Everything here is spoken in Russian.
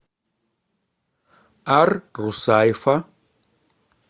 ар русайфа